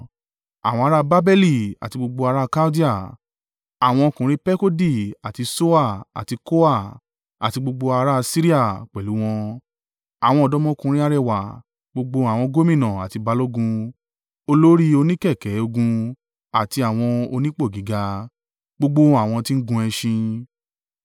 àwọn ará Babeli àti gbogbo ara Kaldea àwọn ọkùnrin Pekodi àti Ṣoa àti Koa àti gbogbo ará Asiria pẹ̀lú wọn, àwọn ọ̀dọ́mọkùnrin arẹwà, gbogbo àwọn gómìnà àti balógun, olórí oníkẹ̀kẹ́ ogun àti àwọn onípò gíga, gbogbo àwọn tí ń gun ẹṣin.